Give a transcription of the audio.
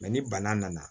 ni bana nana